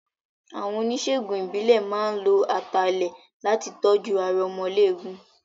Àwọn oníṣègùn ìbílẹ̀ máa ń lo ata ilẹ̀ láti tọ́jú aromọléegun.